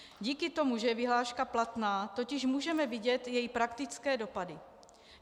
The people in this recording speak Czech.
Díky tomu, že je vyhláška platná, totiž můžeme vidět její praktické dopady.